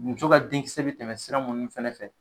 Muso ka denkisɛ bi tɛmɛ sira munnu fana fɛ